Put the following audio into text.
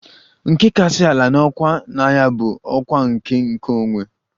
Nke kasị ala n'ọkwá na agha bụ ọkwa nke a ""nkeonwe"""